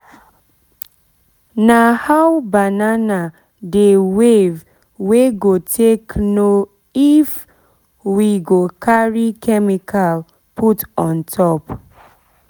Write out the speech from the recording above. nah how banana dey wave we go take know if we go carry chemical put on top